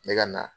Ne ka na